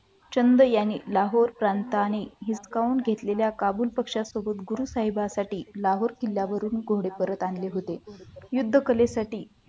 चंदेयाने लाहोर प्रांताने हिसकावून घेतलेल्या काबिल पक्षांसोबत गुरु साहेबांसाठी लाहो किल्ल्यावरचे कोडे परत आणण्यात आले होते युद्ध कलेसाठी